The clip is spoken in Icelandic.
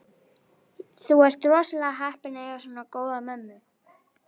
Þú ert rosalega heppinn að eiga svona góða mömmu.